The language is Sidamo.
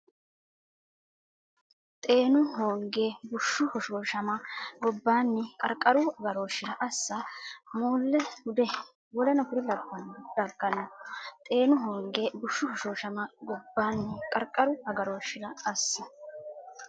Xeenu hoonge bushshu hoshooshama gobbaanni qarqaru agarooshshira assa moolle hude w k l daggano Xeenu hoonge bushshu hoshooshama gobbaanni qarqaru agarooshshira assa.